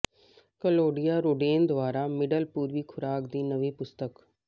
Claudia Roden middle ਮਿਡਲ ਪੂਰਬੀ ਖੁਰਾਕ ਦੀ ਨਵੀਂ ਪੁਸਤਕ